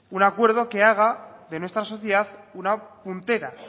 un acuerdo que haga de nuestra sociedad una puntera